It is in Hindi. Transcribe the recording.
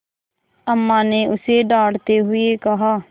अम्मा ने उसे डाँटते हुए कहा